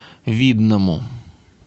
видному